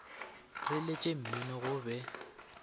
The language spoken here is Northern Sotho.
re letše mmino go be